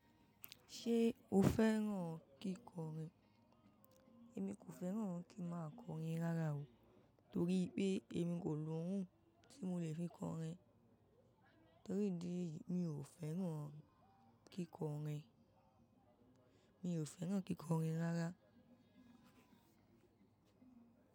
Ṣé o fẹ́ràn kíkọrin? Èmi kò fẹ́ràn kí n máa kọrin rárá o. Torí pé èmi kò ni ohun tí mo lè fi kọrin. Torí ìdí èyí mi ò fẹ́ràn kíkọrin. Mi ò fẹ́ràn kíkọrin rárá.